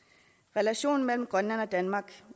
relationen mellem grønland og danmark